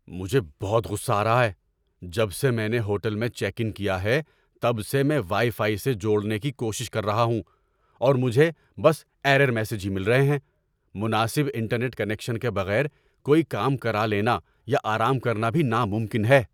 ‏مجھے بہت غصہ آ رہا ہے۔ جب سے میں نے ہوٹل میں چیک ان کیا ہے تب سے میں وائی فائی سے جوڑنے کی کوشش کر رہا ہوں، اور مجھے بس ایرر میسیجز ہی مل رہے ہیں۔ مناسب انٹرنیٹ کنکشن کے بغیر کوئی کام کرا لینا یا آرام کرنا بھی ناممکن ہے۔